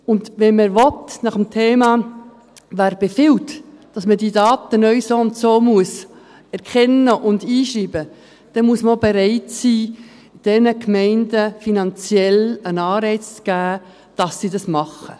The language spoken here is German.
Wenn man dies will, muss dies nach dem Motto geschehen, wer befiehlt, dass man die Daten neu so und so erkennen und eingeben muss, muss auch bereit sein, diesen Gemeinden finanziell einen Anreiz zu geben, damit sie dies tun.